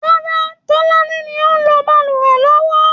Rárá, Tọláni ni ó ń lo balùwẹ̀ lọ́wọ́